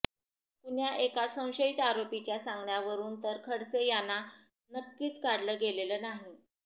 कुण्या एका संशयित आरोपीच्या सांगण्यावरुन तर खडसे याना नक्कीच काढलं गेलेलं नाही